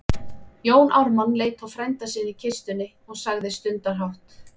Jón Ármann leit á frænda sinn í kistunni og sagði stundarhátt